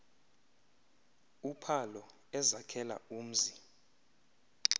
uphalo ezakhela umzi